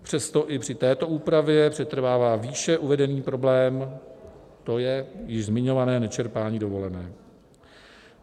Přesto i při této úpravě přetrvává výše uvedený problém, to je již zmiňované nečerpání dovolené.